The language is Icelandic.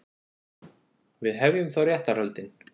Við hefjum þá réttarhöldin.